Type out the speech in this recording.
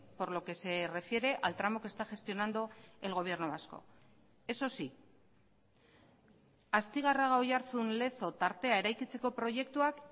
por lo que se refiere al tramo que está gestionando el gobierno vasco eso sí astigarraga oiartzun lezo tartea eraikitzeko proiektuak